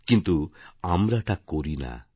কিন্তু আমরা তা করি না